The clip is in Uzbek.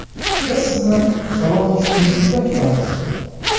Biz sizni Salon Exclusive’da kutamiz!